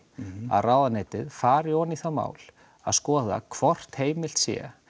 að ráðuneytið fari ofan í það mál að skoða hvort heimild sé